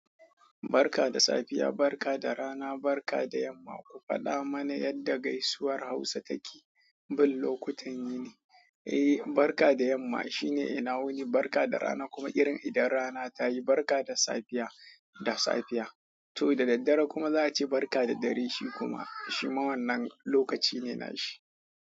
"Barka da safiya, barka da rana, barka da yamma. Ku faɗa mana yadda gaisuwar Hausa take." Bin lokutan yini, eh, barka da yamma shine ina wuni, barka da rana kuma irin idan rana ta yi, barka da safiya, da safiya. To daddare kuma za a ce barka da dare, shi kuma shi ma wannan lokaci ne na shi.